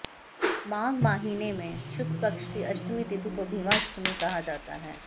माघ माहीने में शुक्लपक्ष की अष्टमी तिथि को भीमाष्टमी कहा जाता है